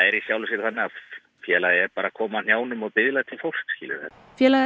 er í sjálfu sér þannig að félagið er bara að koma á hnjánum og biðja til fólks skilurðu félagið